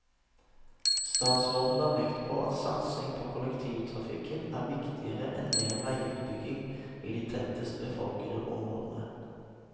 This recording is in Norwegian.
Statsråden la vekt på at satsing på kollektivtrafikken er viktigere enn mer veiutbygging i de tettest befolkede områdene.